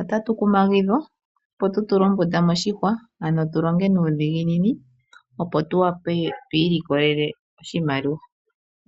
Otatu kumagidhwa opo tu tule ombunda moshihwa ano tu longe nuudhiginini opo tu wape tu ilikolele oshimaliwa.